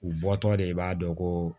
U bɔtɔ de i b'a dɔn ko